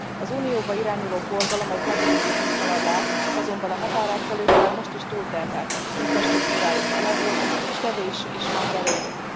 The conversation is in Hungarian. Az Unióba irányuló forgalom egy nagy része itt halad át, azonban a határátkelők már most is túlterheltek, infrastruktúrájuk elavult, és kevés is van belőlük.